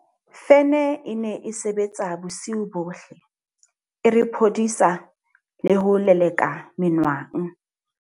Ka lebaka la kgaello e kgolo ya maitsebelo lekaleng lena, Mthimkhulu ha a ka a sokola ho fumana mosebetsi.